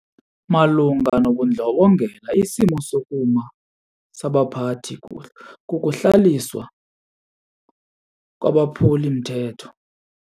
Malunga nobundlobongela isimo sokuma sabaphathi kukuhlawuliswa kwabaphuli-mthetho.